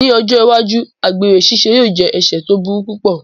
Ní ọjọ́ iwájú, àgbèrè ṣíṣe yóò jẹ́ ẹ̀sẹ̀ tó burú púpọ̀